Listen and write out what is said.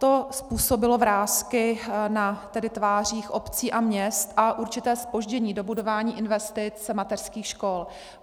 To způsobilo vrásky na tvářích obcí a měst a určité zpoždění dobudování investic mateřských škol.